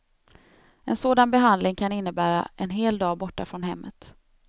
En sådan behandling kan innebära en hel dag borta från hemmet.